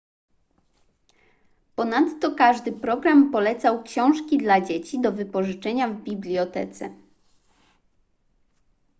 ponadto każdy program polecał książki dla dzieci do wypożyczenia w bibliotece